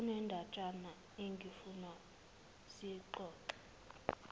kunendatshana engifuna siyixoxe